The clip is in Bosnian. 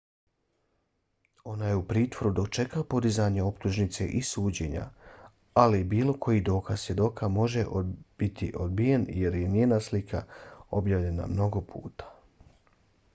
ona je u pritvoru dok čeka podizanje optužnice i suđenje ali bilo koji dokaz svjedoka može biti odbijen jer je njena slika objavljena mnogo puta